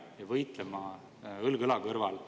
Muudatusettepanekute esitamise tähtaeg oli 30. oktoober kell 17.15.